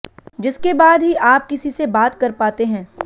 जिसके बाद ही आप किसी से बात कर पाते हैं